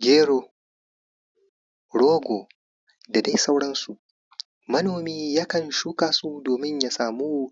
gero rogo da dai sauransu manomi yakan shuka su domin ya samu